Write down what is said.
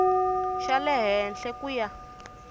xa le henhla ku ya